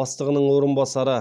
бастығының орынбасары